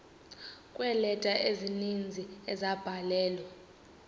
kweeleta ezininzi ezabhalelwa